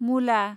मुला